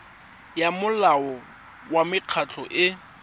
ya molao wa mekgatlho e